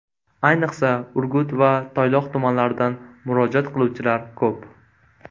Ayniqsa, Urgut va Toyloq tumanlaridan murojaat qiluvchilar ko‘p.